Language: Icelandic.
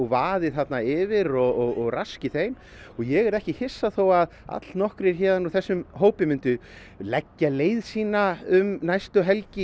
vaði þarna yfir og raski þeim og ég yrði ekki hissa þó allnokkrir úr þessum hópi myndu leggja leið sína um næstu helgi